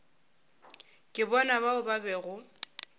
ke bona bao ba bego